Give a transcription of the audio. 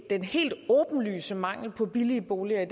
den helt åbenlyse mangel på billige boliger i